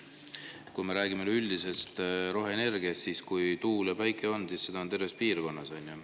Kui me räägime üldisest roheenergiast, siis, kui tuul ja päike on, siis seda on terves piirkonnas.